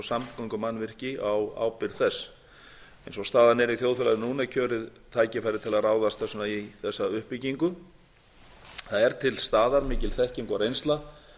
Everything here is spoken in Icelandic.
samgöngumannvirki á ábyrgð þess eins og staðan er í þjóðfélaginu núna er kjörið tækifæri til að ráðast þess vegna í þessa uppbyggingu það er til staðar mikil þekking og reynsla